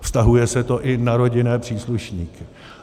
Vztahuje se to i na rodinné příslušníky.